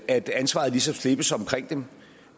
at ansvaret ligesom slippes omkring dem